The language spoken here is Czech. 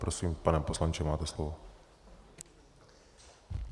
Prosím, pane poslanče, máte slovo.